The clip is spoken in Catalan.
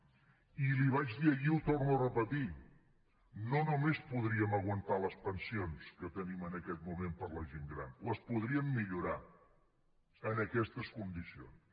i li vaig dir ahir i ho torno a repetir no només podríem aguantar les pensions que tenim en aquest moment per a la gent gran les podríem millorar en aquestes condicions